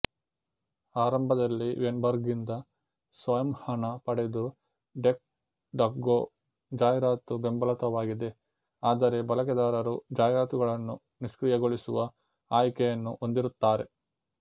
ಆರಂಭದಲ್ಲಿ ವೇನ್ಬರ್ಗ್ನಿಂದ ಸ್ವಯಂಹಣ ಪಡೆದು ಡಕ್ ಡಕ್ಗೊ ಜಾಹೀರಾತುಬೆಂಬಲಿತವಾಗಿದೆ ಆದರೆ ಬಳಕೆದಾರರು ಜಾಹೀರಾತುಗಳನ್ನು ನಿಷ್ಕ್ರಿಯಗೊಳಿಸುವ ಆಯ್ಕೆಯನ್ನು ಹೊಂದಿರುತ್ತಾರೆ